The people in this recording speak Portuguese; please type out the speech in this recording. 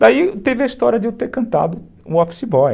Daí teve a história de eu ter cantado o Office Boy.